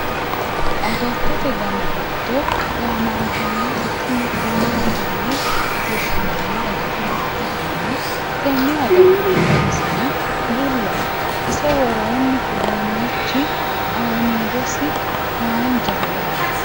agattote dani giddo gaamantannoti tini kuuli yine woshshinanni agatto ikkitanna, tenne agattohu daniseno bullaho ise worroonni uduunnichi aaniidosi hanjaho yaate.